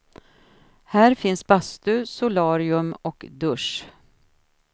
Här finns bastu, solarium och dusch.